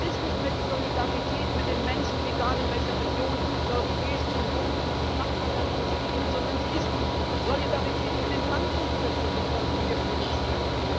Es ist nicht mehr die Solidarität mit den Menschen, egal in welcher Region in der Europäischen Union und in den Nachbarländern sie leben, sondern es ist die Solidarität mit den Banken, die wir produzieren.